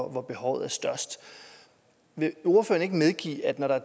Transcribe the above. hvor behovet er størst vil ordføreren ikke medgive at når